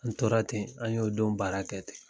U tora ten, an y'o don baara kɛ ten.